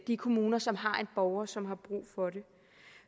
de kommuner som har en borger som har brug for det